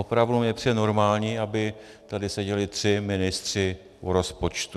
Opravdu mi nepřijde normální, aby tady seděli tři ministři u rozpočtu.